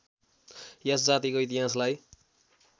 यस जातिको इतिहासलाई